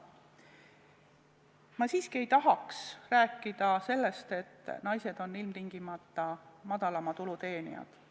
Ma siiski ei tahaks rääkida sellest, et naised on ilmtingimata madalama tulu teenijad.